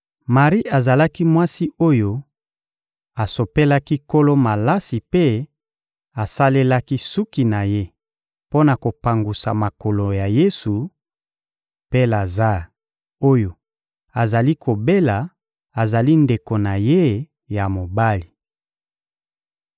Mari azali mwasi oyo asopelaki Nkolo malasi mpe asalelaki suki na ye mpo na kopangusa makolo ya Yesu, mpe Lazare oyo azali kobela azali ndeko na ye ya mobali.